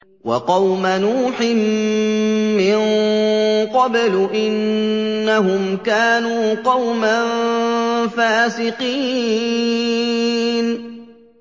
وَقَوْمَ نُوحٍ مِّن قَبْلُ ۖ إِنَّهُمْ كَانُوا قَوْمًا فَاسِقِينَ